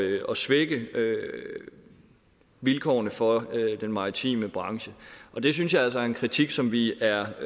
svække vilkårene for den maritime branche det synes jeg altså er en kritik som vi er